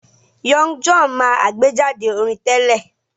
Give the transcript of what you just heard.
Young John máa àgbéjáde orin tẹ́lẹ̀